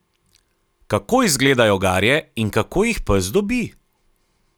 Kako izgledajo garje in kako jih pes dobi?